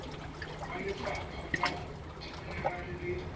wa lefapha la dimenerale le